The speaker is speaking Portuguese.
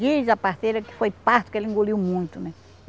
Diz a parteira que foi parto que ele engoliu muito, né?